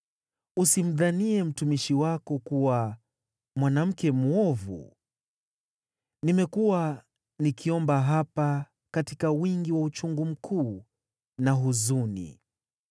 Usimdhanie mtumishi wako kuwa mwanamke mwovu; nimekuwa nikiomba hapa katika wingi wa uchungu mkuu na huzuni.”